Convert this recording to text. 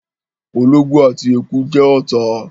ológbò àti eku jẹ́ ọ̀tá